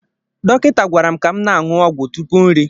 Dọkịta gwara m ka m na-aṅụ ọgwụ tupu nri.